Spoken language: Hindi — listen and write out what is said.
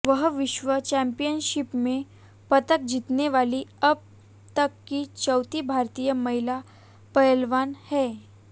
वह विश्व चैम्पियनशिप में पदक जीतने वाली अब तक की चौथी भारतीय महिला पहलवान हैं